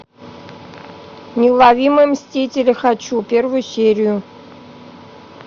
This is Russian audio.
неуловимые мстители хочу первую серию